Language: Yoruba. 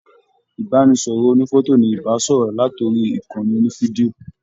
Ibanisọrọ ònífọ̀tò ní ibasọrọ lat'ori ìkànnì onifidio.